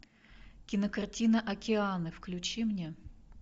кинокартина океаны включи мне